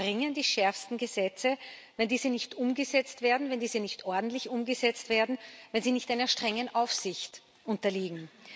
Doch was bringen die schärfsten Gesetze, wenn diese nicht umgesetzt werden, wenn sie nicht ordentlich umgesetzt werden, wenn sie nicht einer strengen Aufsicht unterliegen?